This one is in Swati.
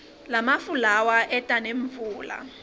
lamafu lawa eta nemvula